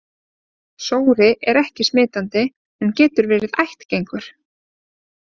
Sóri er ekki smitandi en getur verið ættgengur.